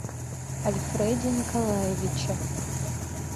альфреде николаевиче